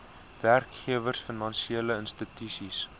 werkgewers finansiele instansies